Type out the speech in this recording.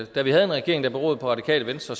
da vi havde en regering der beroede på radikale venstre